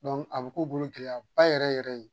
a bɛ k'u bolo gɛlɛyaba yɛrɛ yɛrɛ ye.